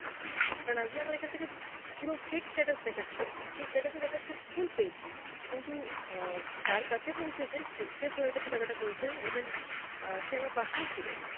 কারণ আজগে আমার এখান থেকে পু~ পুরো fake status দেখাচ্ছে সেই status এ দেখাচ্ছে full paid. কিন্তু আ যার কাছে পৌঁছেছে সে সে কাছে টাকাটা পৌছায়নি even আ সে আমার পাশেই ছিল